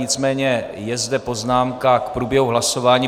Nicméně je zde poznámka k průběhu hlasování.